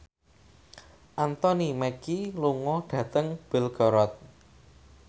Anthony Mackie lunga dhateng Belgorod